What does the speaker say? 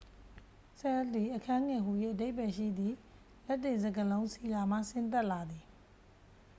ဆဲလ် သည် အခန်းငယ်ဟူ၍ အဓိပ္ပာယ်ရှိသည့် လက်တင်စကားလုံး ဆီလာ မှ ဆင်းသက်လာသည်